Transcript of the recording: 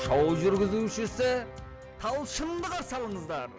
шоу жүргізушісі талшынды қарсы алыңыздар